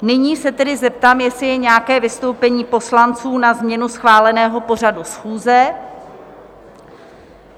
Nyní se tedy zeptám, jestli je nějaké vystoupení poslanců na změnu schváleného pořadu schůze?